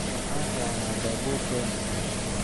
Waxaan raacnaa baabuurkeena.